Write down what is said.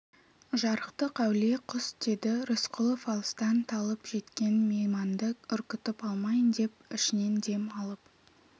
жарықтық әулие құс деді рысқұлов алыстан талып жеткен мейманды үркітіп алмайын деп ішінен дем алып